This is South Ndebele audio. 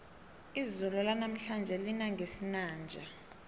izulu lanamhlanje lina ngesinanja